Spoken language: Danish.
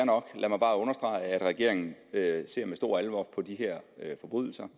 nok lad mig bare understrege at regeringen ser med stor alvor på de her forbrydelser